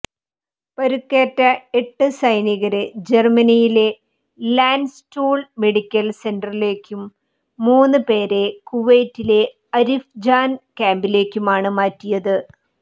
പരുക്കേറ്റ എട്ട് സൈനികരെ ജർമനിയിലെ ലാൻഡ്സ്റ്റുൾ മെഡിക്കൽ സെന്ററിലേക്കും മൂന്ന് പേരെ കുവൈത്തിലെ അരിഫ്ജാൻ ക്യാമ്പിലേക്കുമാണ് മാറ്റിയത്